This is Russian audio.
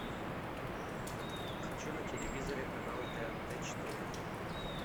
хочу на телевизоре канал тнт четыре